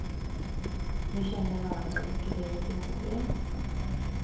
De känner varandra och diskuterar sina problem.